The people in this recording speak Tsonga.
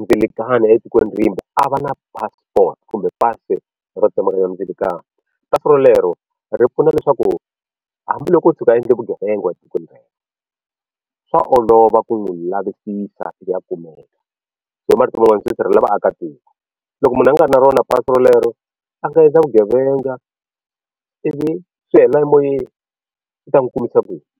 ndzilakano etikweni rimbe a va na passport kumbe pasi ro tsemakanya ndzilakano pasi rolero ri pfuna leswaku hambiloko o tshuka a endle vugevenga etikweni rero swa olova ku n'wi lavisisa a kumeka so hi marito man'wana swi sirhelela vaakatiko loko munhu a nga ri na rona pasi rolero a nga endla vugevenga ivi swi helela emoyeni i ta n'wi kumisa ku yini.